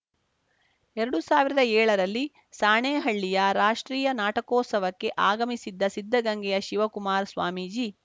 ಎರಡು ಸಾವಿರದ ಏಳರಲ್ಲಿ ಸಾಣೇಹಳ್ಳೀಯ ರಾಷ್ಟ್ರೀಯ ನಾಟಕೋತ್ಸವಕ್ಕೆ ಆಗಮಿಸಿದ್ದ ಸಿದ್ದಗಂಗೆಯ ಶಿವಕುಮಾರ ಸ್ವಾಮೀಜಿ